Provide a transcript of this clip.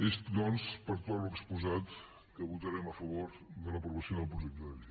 és doncs per tot l’exposat que votarem a favor de l’aprovació del projecte de llei